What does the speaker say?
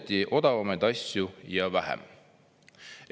"Osteti odavamaid asju ja vähem."